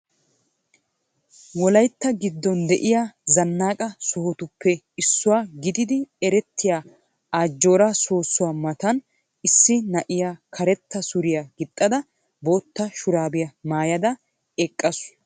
Wolaytta giddon de'iya zannaqa sohotuppe issuwa gididi erettiya Ajjooraa soossuwa matan issi na'iya karetta suriya gixxada bootta shuraabiya maayada eqqaasu.